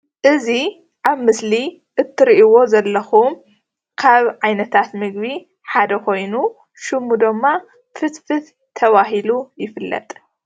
እዚ ኣብ ምስሊ እትሪእዎ ዘለኩም ካብ ዓይነታት ምግቢ ሓደ ኮይኑ ሽሙ ደማ ፍትፍት ተባሂሉ ይፍለጥ።